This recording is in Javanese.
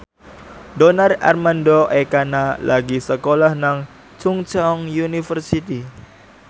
Donar Armando Ekana lagi sekolah nang Chungceong University